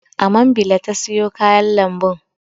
A mambila ta sayo kayan lambun.